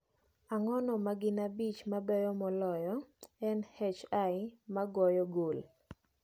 ng�ano ma gin abich mabeyo moloyo e n. h. l ma goyo gol